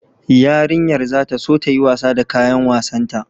Yarinyar za ta so ta yi wasa da kayan wasanta